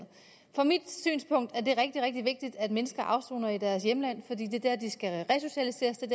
fra mit synspunkt er det rigtig rigtig vigtigt at mennesker afsoner i deres hjemland fordi det er der de skal resocialiseres det